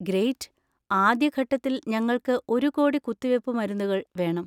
Great. ആദ്യ ഘട്ടത്തിൽ ഞങ്ങൾക്ക് ഒരു കോടി കുത്തിവെപ്പ് മരുന്നുകൾ വേണം.